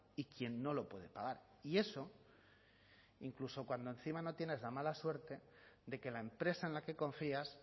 y quien no lo puede pagar y eso incluso cuando encima no tienes la mala suerte de que la empresa en la que confías